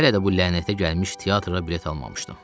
Hələ də bu lənətə gəlmiş teatra bilet almamışdım.